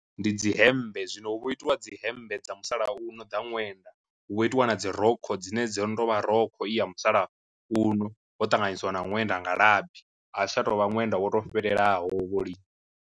Ndi dzi hembe zwino hu vho itiwa dzi hembe dza musalauno dza ṅwenda, hu vha ho itiwa na dzi rokho dzine dzo no to vha rokho i ya musalauno ho ṱanganyisiwa na ṅwenda nga labi a tsha to u vha ṅwenda wo fhelelaho vho lini.